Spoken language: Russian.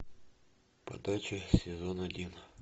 подача сезон один